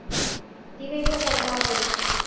di be di kgona go